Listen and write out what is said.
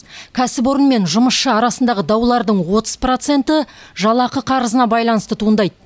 кәсіпорын мен жұмысшы арасындағы даулардың отыз проценті жалақы қарызына байланысты туындайды